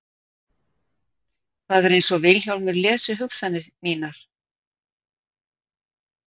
Það er einsog Vilhjálmur lesi hugsanir mínar.